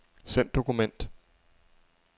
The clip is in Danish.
Send dokument.